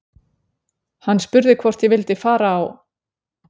Hann spurði hvort ég vildi fara á